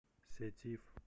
сетиф